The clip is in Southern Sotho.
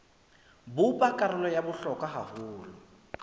bopa karolo ya bohlokwa haholo